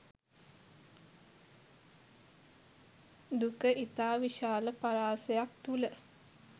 දුක ඉතා විශාල පරාසයක් තුළ